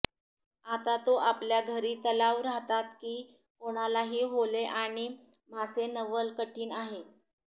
आता तो आपल्या घरी तलाव राहतात की कोणालाही होले आणि मासे नवल कठीण आहे